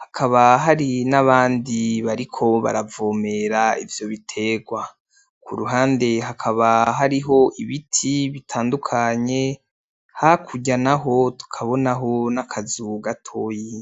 hakaba hari nabandi bariko baravomera ivyo biterwa. Kuruhande hakaba hariho ibiti bitandukanye, hakurya naho tukabonaho n'akazu gatoyi.